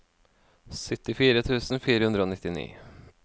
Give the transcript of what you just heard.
syttifire tusen fire hundre og nittini